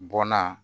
Bɔnna